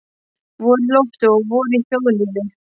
Vor í lofti og vor í þjóðlífi.